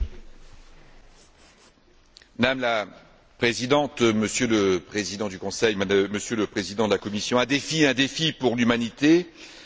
Madame la Présidente, Monsieur le Président du Conseil, Monsieur le Président de la Commission, nous nous trouvons face à un défi pour l'humanité, un défi pour les générations futures.